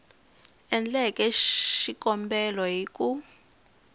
endleke xikombelo hi ku n